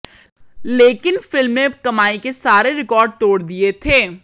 लेकिन फिल्म में कमाई के सारे रिकॉर्ड तोड़ दिए थे